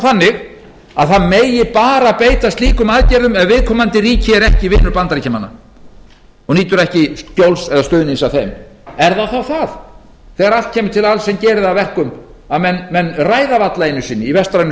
þannig að það megi bara beita slíkum aðgerðum ef viðkomandi ríki er ekki vinur bandaríkjamanna og nýtur ekki skjóls eða stuðnings af þeim er þá það þegar allt kemur til alls sem gerir það að verkum að menn ræða varla einu sinni í vestrænum